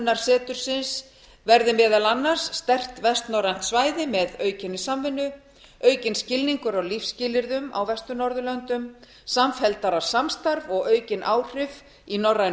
samvirknisáhrif stofnunarsetursins verði meðal annars sterkt vestnorrænt svæði með aukinni samvinnu aukinn skilningur á lífsskilyrðum á vestur norðurlöndum samfelldara samstarf og aukin áhrif í norrænu